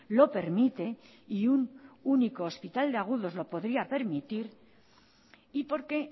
lo permite y un único hospital de agudos lo podría permitir y porque